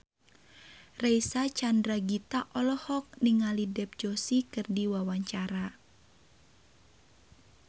Reysa Chandragitta olohok ningali Dev Joshi keur diwawancara